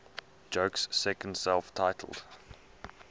joke's second self titled